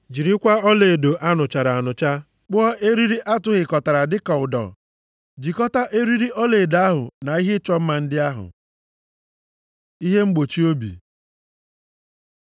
Jirikwa ọlaedo a nụchara anụcha kpụọ eriri a tụhịkọtara dịka ụdọ, jikọta eriri ọlaedo ahụ na ihe ịchọ mma ndị ahụ. Ihe mgbochi obi